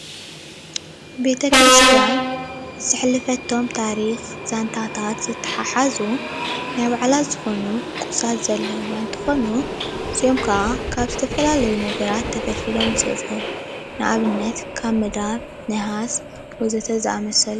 ቤተ-ክርስትያ ዘሕለፈቶም ታሪኽ ዛንታታት ዝትሓሓዙ ናይ ባዕላ ዝኾኑ ቁሳት ዘለውዋ እንትኾኑ እዚኦም ከዓ ካብ ዝተፈላለዩ ነገራት ተፈሊፊሎመ ይስርሑ። ንአብነተ ካብ መዳብ ፤ነሓስ ወዘተ ዝአመሰሉ።